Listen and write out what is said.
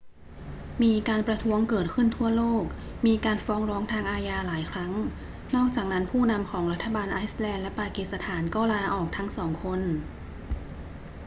มีการประท้วงเกิดขึ้นทั่วโลก มีการฟ้องร้องทางอาญาหลายครั้ง นอกจากนั้นผู้นำของรัฐบาลไอซ์แลนด์และปากีสถานก็ลาออกทั้งสองคน